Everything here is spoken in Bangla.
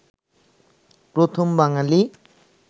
প্রথম বাঙ্গালী